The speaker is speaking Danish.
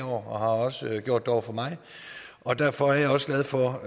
også har gjort det over for mig og derfor er jeg også glad for